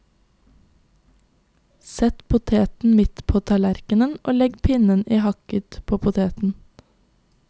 Sett poteten midt på tallerkenen, og legg pinnen i hakket på poteten.